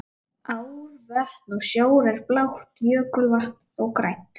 Ár, vötn og sjór er blátt, jökulvatn þó grænt.